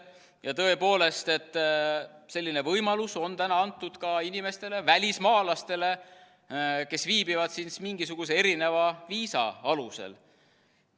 Ja tõepoolest, selline võimalus on täna antud ka inimestele, välismaalastele, kes viibivad siin mingisuguse viisa alusel.